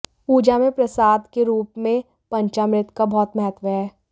पूजा में प्रसाद के रूप में पंचामृत का बहुत महत्व है